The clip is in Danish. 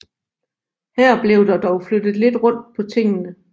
Her blev der dog flyttet lidt rundt på tingene